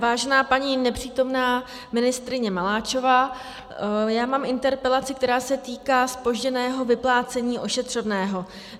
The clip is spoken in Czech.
Vážená paní nepřítomná ministryně Maláčová, já mám interpelaci, která se týká zpožděného vyplácení ošetřovného.